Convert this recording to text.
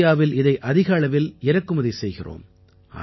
இந்தியாவில் இதை அதிக அளவில் இறக்குமதி செய்கிறோம்